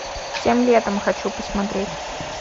тем летом хочу посмотреть